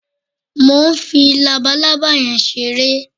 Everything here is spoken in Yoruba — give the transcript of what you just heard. Mo ń fi labaalábá yẹn ṣeré